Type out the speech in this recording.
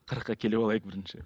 қырыққа келіп алайық бірінші